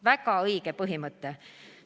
Väga õige põhimõte.